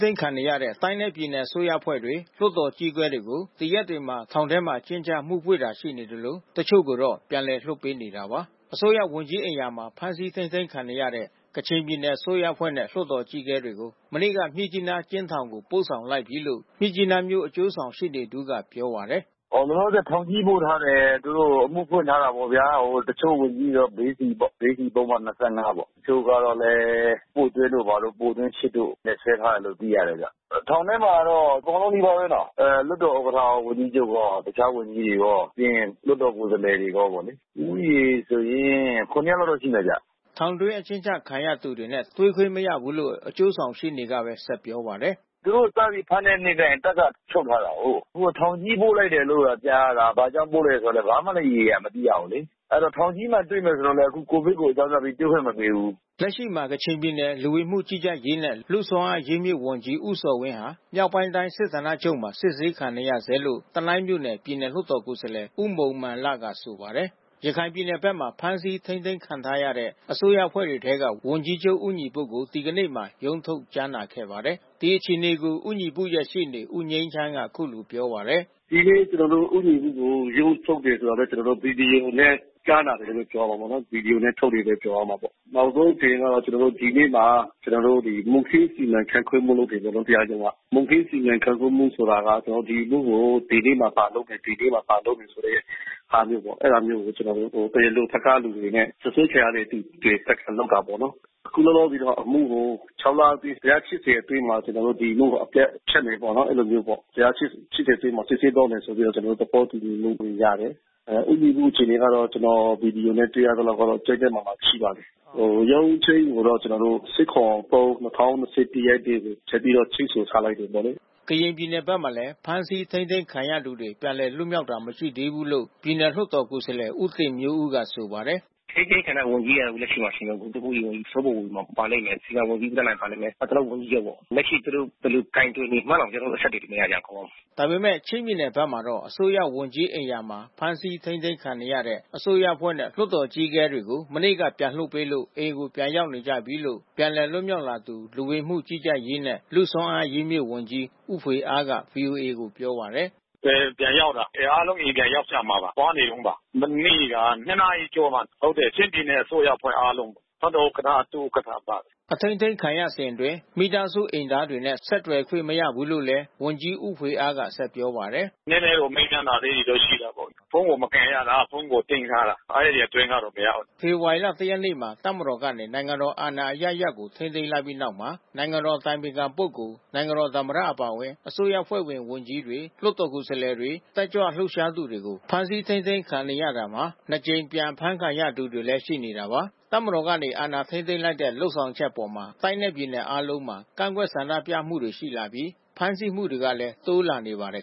သိမ်းခံနေရတဲ့ တိုင်းနဲ့ ပြည်နယ်အစိုးရအဖွဲ့တွေ လွှတ်တော်အကြီးအကဲတွေကို ဒီရက်တွေမှာ ထောင်ထဲအကျဉ်းချ အမှုဖွင့်တာရှိနေသလို တချို့ကိုတော့ပြန်လည်လွှတ်ပေးနေတာပါ။ အစိုးရဝန်ကြီးအိမ်ယာမှာ ဖမ်းဆီးထိန်းသိမ်းခံနေရတဲ့ ကချင်ပြည်နယ် အစိုးရအဖွဲ့နဲ့လွှတ်တော်အကြီးအကဲတွေကို မနေ့က မြစ်ကြီးနားအကျဉ်းထောင်ကို ပို့ဆောင်လိုက်ပြီးလို့ မြစ်ကြီးနားမြို့ အကျိုးဆောင်ရှေ့နေ တဦးကပြောပါတယ်။ “လောလောဆယ် သူတို့ကိုထောင်ကြီး ပို့ထားတယ်။ သူတို့ကို အမှုဖွင့်ထားတယ်ပေါ့ဗျာ။ တချို့ဝန်ကြီးတွေတော့ ဘေးစီပေါ့။ ဘေးစီပုဒ်မ ၂၅ ပေါ့။ တချို့သူတွေကိုလည်း ပို့သွင်းတို့၊ ဘာတို့ ပို့သွင်း ၈ တို့နဲ့ စွဲထားတယ်လို့ သိရတယ်။ ထောာင်ထဲမှာတော့ အကုန်လုံးနီးပါးဘဲနော် လွှတ်တော်ဥက္ကဋ္ဌတို့၊ ဝန်ကြီးချုပ်ရော တခြားဝန်ကြီးတွေရော ပြီးရင်လွှတ်တော်ကိုယ်စားလှယ်တွေရောပေါ့လေ။ ဦးရေဆိုရင် ၇ ယောက်လောက်တော့ရှိမယ်ဗျ။” ထောင်တွင်း အကျဉ်းချခံရသူတွေနဲ့ တွေ့ခွင့်မရဘူးလို့ အကျိုးဆောင်ရှေ့နေကပြောပါတယ်။ “သူတို့ကို စပြီးဖမ်းတဲ့နေ့က တပ်က ချုပ်ထားတာကိုး။ အခုက ထောင်ကြီးပို့လိုက်တယ်လို့တော့ကြားရတာ။ ဘာကြောင့် ပို့ရတာ ဘာမှလဲ ရေရေရာရာမသိရဘူး။ အဲဒီတော့ ထောင်ကြီးမှာတွေ့မယ်ဆိုတော့လည်း COVID ကိုအကြောင်းပြပြီး တွေ့ခွင့်မပေးဘူး။” လက်ရှိမှာ ကချင်ပြည်နယ် လူဝင်မှုကြီး ကြပ်ရေးနဲ့ လူ့စွမ်းအားအရင်းအမြစ်ဝန်ကြီးဦးဇော်ဝင်းဟာ မြောက်ပိုင်းတိုင်း စစ်ဌာနချုပ်မှာစစ်ဆေးခံနေရဆဲလို့ တနိုင်းမြို့နယ် ပြည်နယ်လွှတ်တော်ကိုယ်စားလှယ်ဦးမုန်မန်လက ဆိုပါတယ်။ ရခိုင်ပြည်နယ်ဘက်မှာ ဖမ်းဆီးထိန်းသိမ်းခံထားရတဲ့ အစိုးရအဖွဲ့တွေထဲက ဝန်ကြီးချုပ်ဦးညီပုကို ဒီကနေ့မှာ ရုံးထုတ်ကြားနာခဲ့ပါတယ်။ ဒီအခြေအနေကို ဦးညီပုရဲ့ရှေ့နေ ဦးငြိမ်းချမ်းက အခုလိုပြောပါတယ်။ “ဒီနေ့ ကျနော်တို့ ဦးညီပုကို ရုံးထုတ်တယ်ဆိုတာပဲ... ကျနော်တို့ ဗွီဒီယိုနဲ့ ကြားနာနေတယ်လို့ ပြောရမှာပေါ့နော်။ နောက်ဆုံးအခြေအနေကတော့ ကျနော်တို့ ဒီနေ့မှာ မှုခင်းစီမံခန့်ခွဲမှုတွေလုပ်တယ်ပေါ့နော် တရားရုံးက။ မှုခင်း စီမံခန့်ခွဲမှုဆိုတာက ကျနော်တို့ ဒီအမှုကို ဒီနေ့မှာ ဘာလုပ်မယ် ဒီနေ့မှာ ဘာလုပ်မယ်ဆိုတဲ့ဟာမျိုးပေါ့။ အဲဒါမျိုး ကျနော်တို့ တရားလိုဘက်က လူတွေနဲ့ စွပ်စွဲခံရတဲ့လူတွေဘက်က လုပ်တာပေါ့နော်။ အခုလောလောဆယ်တော့ ဒီအမှုကို ၆ လအတွင်း တရားစစ်စဉ်အတွင်းမှာ ကျနော်တို့ ဒီအမှုက အပြတ်ဖြတ်မယ်ပေါ့နော် အဲဒီလိုမျိုးပေါ့။ တရားစစ်ဆေးသွားမယ်ဆိုပြီးတော့ ကျနော်တို့ သဘောတူညီမှု ရတယ်။ ဦးညီပုအခြေအနေကတော့ ကျနော် ဗွီဒီယိုနဲ့ တွေ့ရသလောက်ကတော့ ကျန်းကျန်းမာမာရှိပါတယ်။ ရုံးချိန်းကိုတော့ ၁၇၊ ၃၊ ၂၀၂၁ ရက်နေ့ကို ဆက်ပြီးတော့ချိန်းဆိုထားလိုက်တယ်လို့ ပြောတယ်။” ကရင်ပြည်နယ်ဘက်မှာလည်း ဖမ်းဆီးထိန်းသိမ်းခံရသူတွေ ပြန်လွတ်မြောက်လာတာ မရှိသေးဘူးလို့ ပြည်နယ်လွှတ်တော် ကိုယ်စားလှယ်ဦးတင်မျိုးဦးက ဆိုပါတယ်။ “အထိန်းသိမ်းခံရတဲ့ ဝန်ကြီးက အခုလက်ရှိမှာ လူမှှုရေးဝန်ကြီးစောဘိုဘိုဝေမောင်ပါလိမ့်မယ်။ ဆရာဝန်ကြီးဦးသန်းနိုင် ပါလိမ့်မယ်။ နောက် ကျနော်တို့ ဝန်ကြီးချုပ်ပေါ့။ လက်ရှိသူတို့ ဘယ်လိုကိုင်တွယ်နေမှန်းတောင် ကျနော်တို့ အဆက်သွယ်တွေမရကြဘူး... ကောင်းကောင်း။” ဒါပေမဲ့ ချင်းပြည်နယ်ဘက်မှာတော့ အစိုးရဝန်ကြီးအိမ်ယာမှာ ဖမ်းဆီးထိန်းသိမ်းခံနေရတဲ့ အစိုးရအဖွဲ့နဲ့ လွှတ်တော်အကြီးအကဲတွေကို မနေ့က ပြန်လွှတ်ပေးလို့ အိမ်ကိုပြန်နေကြပြီးလို့ ပြန်လည်လွတ်မြောက်လာသူ လူဝင်မှုကြီးကြပ်ရေးနဲ့ လူ့စွမ်းအားအရင်းအမြစ်ဝန်ကြီး ဦးဖွေအားက ဗွီအိုအေကိုပြောပါတယ်။ “အေးပြန်ရောက်တာ။ အားလုံး အိမ်ပြန်ရောက်ကြမှာပါ။ သွားနေတုန်းပါ။ မနေ့က ၂ နာရီကျော်မှာ။ ချင်းပြည်နယ်အစိုးရ အဖွဲ့အားလုံး။ လွှတ်တော်ဥက္ကဋ္ဌ၊ ဒုဥက္ကဋ္ဌပါတယ်။” အထိန်းသိမ်းခံရစဉ်အတွင်း မိသားစုအိမ်သားတွေနဲ့ ဆက်သွယ်ခွင့်မရဘူးလို့လည်း ဝန်ကြီးဦးဖွေအားက ဆက်ပြောပါတယ်။ “နည်းနည်းတော့ မေးမြန်းတာလေးတွေ ရှိတာပေါ့။ ဖုန်းကိုမကိုင်ရတာ။ ဖုန်းကို သိမ်းထားတာ။ အဲဒီအတွင်းကတော့ မရဘူး။” ဖေဖော်ဝါရီလ ၁ ရက်နေ့မှာ တပ်မတော်ကနေ နိုင်ငံတော်အာဏာအရပ်ရပ်ကို ထိန်းသိမ်းလိုက်ပြီးနောက်မှာ နိုင်ငံတော်အတိုင်ပင်ခံပုဂ္ဂိုလ်၊ နိုင်ငံတော်သမ္မတအပါအဝင် အစိုးရအဖွဲ့ဝင်ဝန်ကြီးတွေ လွှတ်တော်ကိုယ်စားလှယ်တွေ တက်ကြွလှုပ်ရှားသူတွေ ဖမ်းဆီးထိန်းသိမ်းခံနေရတာမှာ နှစ် ကြိမ် ပြန်ဖမ်းခံရသူတွေလည်း ရှိနေတာပါ။ တပ်မတော်ကနေ အာဏာထိန်းသိမ်းလိုက်တဲ့ လုပ်ဆောင်ချက်အပေါ် တိုင်းနဲ့ ပြည်နယ် အားလုံးမှာ ကန့်ကွက်ဆန္ဒပြမှုတွေ ရှိလာပြီး ဖမ်းဆီးမှုတွေကလည်း တိုးလာနေပါတယ်